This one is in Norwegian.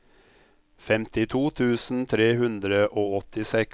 femtito tusen tre hundre og åttiseks